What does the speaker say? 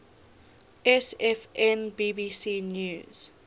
sfn bbc news